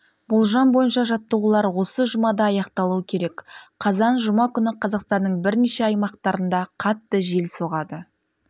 болжам бойынша жаттығулар осы жұмада аяқталуы керек қазан жұма күні қазақстанның бірнеше аймақтарында қатты жел соғады